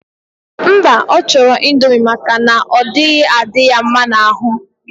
Mba, ochoro indomie maka na onaghi adi ya mma na aru.